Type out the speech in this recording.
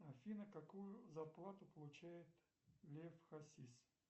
афина какую зарплату получает лев хасис